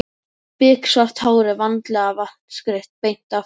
Biksvart hárið vandlega vatnsgreitt beint aftur.